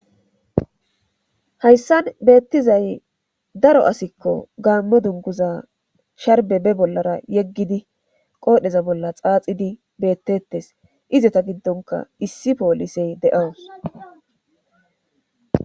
Hayssan beettizay daro asikko gaammo dunguza sharbe be bollara yeggidi qoodheza bolla xaaxidi beettettes izeta giddonka issi poolisey de'awus.